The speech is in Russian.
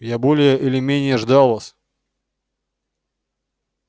я более или менее ждал вас